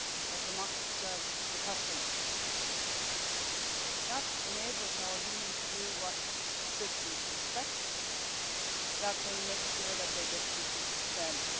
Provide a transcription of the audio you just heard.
that the market serves the customer. That enables our Union to do what citizens expect that they make sure that they get treated fairly.